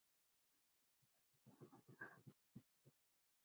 Valdís Ösp og Sigrún Ýr.